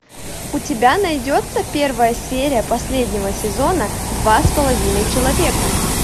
у тебя найдется первая серия последнего сезона два с половиной человека